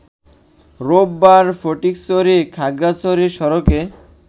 রোববার ফটিকছড়ি-খাগড়াছড়ি সড়কে